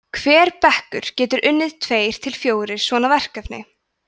hver bekkur getur unnið tveir til fjórir svona verkefni